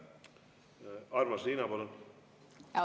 Armas Riina, palun!